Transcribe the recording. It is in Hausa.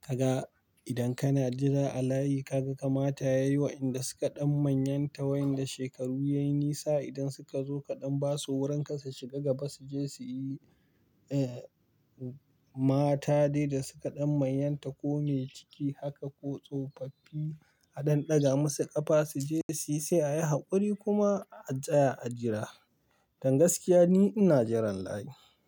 Kaga idan kana jira a layi ka ga kamata yayi wa'inda suka ɗan manyanta wayanda shekaru yayi nisa idan suka zo kaɗan basu wuranka su shiga gaba su je suyi, eh mata dai da suka ɗan manyanta ko me ciki haka ko tsofaffi a ɗan ɗaga musu ƙafa su je suyi sai a yi haƙuri kuma a tsaya a jira. Dan gaskiya ni ina jiran layi.